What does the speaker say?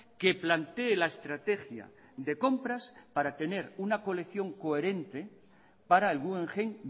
que plantee la estrategia de compras para tener una colección coherente para el guggenheim